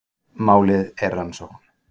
Málið er rannsókn